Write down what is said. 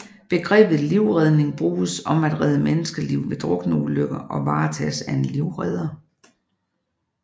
Begrebet livredning bruges om at redde menneskeliv ved drukneulykker og varetages af en livredder